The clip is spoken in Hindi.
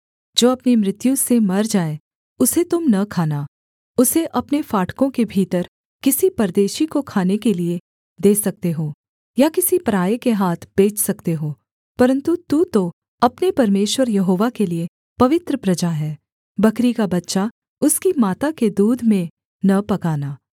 जो अपनी मृत्यु से मर जाए उसे तुम न खाना उसे अपने फाटकों के भीतर किसी परदेशी को खाने के लिये दे सकते हो या किसी पराए के हाथ बेच सकते हो परन्तु तू तो अपने परमेश्वर यहोवा के लिये पवित्र प्रजा है बकरी का बच्चा उसकी माता के दूध में न पकाना